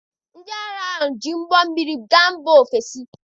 Ndị agha ahụ ji ụgbọ mmiri gaa mba ofesi.